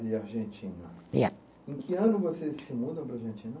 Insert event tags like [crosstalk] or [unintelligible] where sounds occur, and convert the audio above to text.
E Argentina. [unintelligible] Em que ano vocês se mudam para a Argentina?